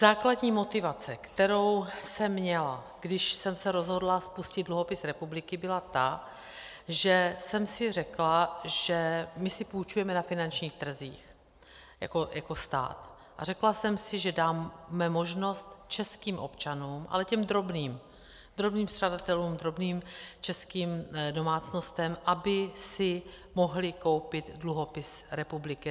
Základní motivace, kterou jsem měla, když jsem se rozhodla spustit dluhopis republiky, byla ta, že jsem si řekla, že my si půjčujeme na finančních trzích jako stát, a řekla jsem si, že dáme možnost českým občanům, ale těm drobným, drobným střadatelům, drobným českým domácnostem, aby si mohli koupit dluhopis republiky.